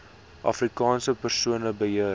afrikaanse persone beheer